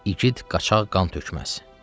İgid qaçaq qan tökməz.